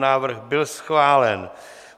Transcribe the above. Návrh byl schválen.